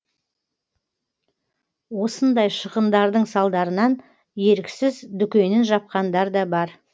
осындай шығындардың салдарынан еріксіз дүкенін жапқандар да бар